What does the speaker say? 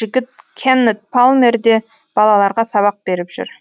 жігіт кеннет палмер де балаларға сабақ беріп жүр